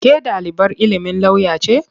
Ke ɗalibar ilimin lauya ce?